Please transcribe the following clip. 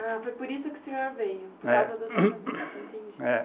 Ah, foi por isso que o senhor veio, por causa do tratamento, entendi. É